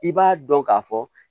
I b'a dɔn k'a fɔ